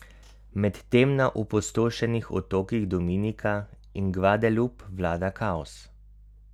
Medtem na opustošenih otokih Dominika in Gvadelup vlada kaos.